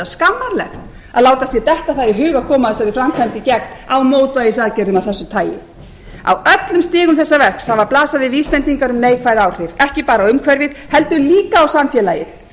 skammarlegt að láta sér detta það í hug að koma þessari framkvæmd í gegn á mótvægisaðgerðum af þessu tagi á öllum stigum þessa verks hafa blasað við vísbendingar um neikvæð áhrif ekki bara umhverfið heldur líka á samfélagið